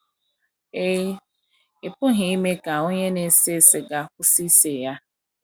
Ị Ị pụghị ime ka onye na - ese siga kwụsị ise ya.